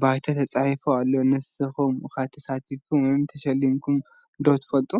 ባይታ ተጻሒፉ ኣሎ። ንስኩም ከ ተሳቲፍኩም ወይም ተሸሊምኩም ደ ትፈልጡ?